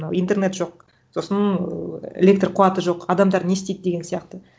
мынау интернет жоқ сосын электр қуаты жоқ адамдар не істейді деген сияқты